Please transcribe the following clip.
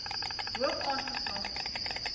hoog aange slaan